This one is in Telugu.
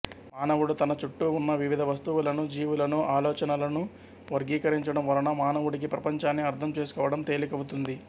మానవుడు తన చుట్టూ ఉన్న వివిధ వస్తువులను జీవులను ఆలోచనలనూ వర్గీకరీంచడం వలన మానవుడికి ప్రపంచాన్ని అర్థం చేసుకోవడం తేలికవుతుంది